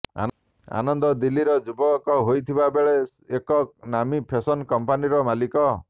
ଆନନ୍ଦ ଦିଲ୍ଲୀର ଯୁବକ ହୋଇଥିବା ବେଳେ ଏକ ନାମୀ ଫେଶନ୍ କମ୍ପାନୀର ମାଲିକ